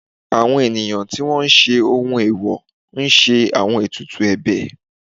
àwọn ènìyàn tí wọ́n ń ṣe ohun eèwò ń ṣe àwọn etùtù ebè